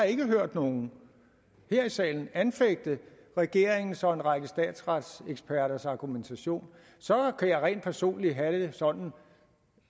ikke har hørt nogen her i salen anfægte regeringens og en række statsretseksperters argumentation så kan jeg rent personligt have det sådan